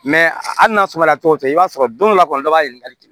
hali n'a sɔrɔ la tɔgɔ tɛ i b'a sɔrɔ don dɔ la kɔni dɔ b'a ɲininkali kɛ